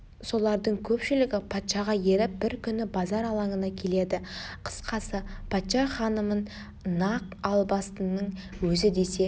солардың көпшілігі патшаға еріп бір күні базар алаңына келеді қысқасы патша ханымын нақ албастының өзі десе